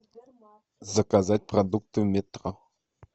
заказать продукты в метро